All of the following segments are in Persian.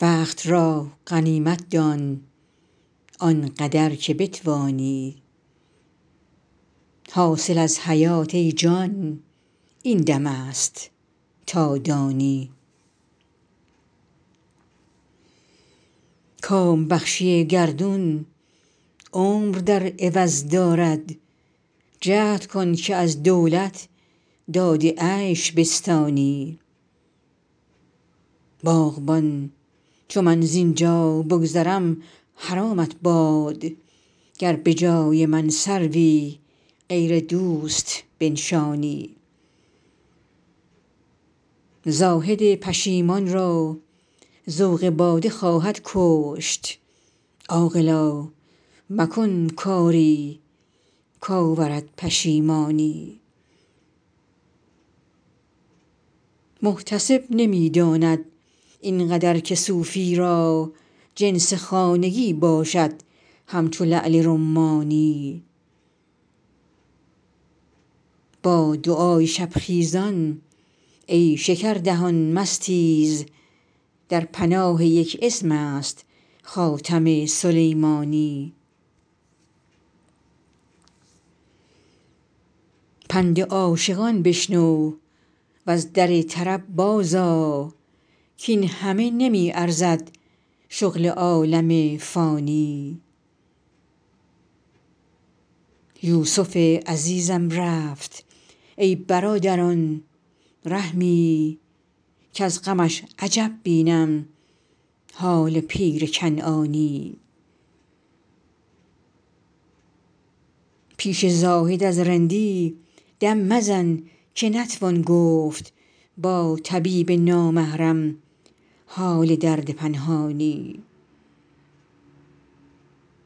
وقت را غنیمت دان آن قدر که بتوانی حاصل از حیات ای جان این دم است تا دانی کام بخشی گردون عمر در عوض دارد جهد کن که از دولت داد عیش بستانی باغبان چو من زین جا بگذرم حرامت باد گر به جای من سروی غیر دوست بنشانی زاهد پشیمان را ذوق باده خواهد کشت عاقلا مکن کاری کآورد پشیمانی محتسب نمی داند این قدر که صوفی را جنس خانگی باشد همچو لعل رمانی با دعای شب خیزان ای شکردهان مستیز در پناه یک اسم است خاتم سلیمانی پند عاشقان بشنو و از در طرب بازآ کاین همه نمی ارزد شغل عالم فانی یوسف عزیزم رفت ای برادران رحمی کز غمش عجب بینم حال پیر کنعانی پیش زاهد از رندی دم مزن که نتوان گفت با طبیب نامحرم حال درد پنهانی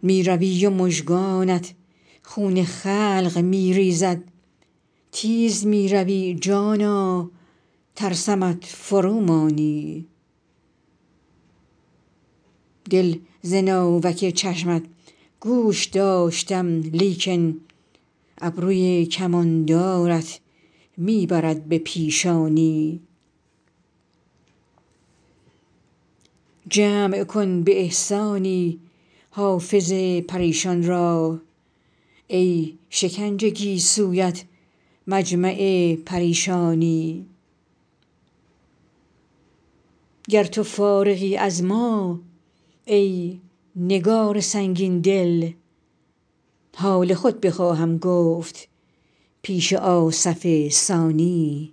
می روی و مژگانت خون خلق می ریزد تیز می روی جانا ترسمت فرومانی دل ز ناوک چشمت گوش داشتم لیکن ابروی کماندارت می برد به پیشانی جمع کن به احسانی حافظ پریشان را ای شکنج گیسویت مجمع پریشانی گر تو فارغی از ما ای نگار سنگین دل حال خود بخواهم گفت پیش آصف ثانی